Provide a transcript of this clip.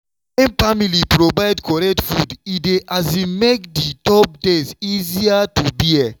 wen family provide correct food e dey um make the tough days easier to bear.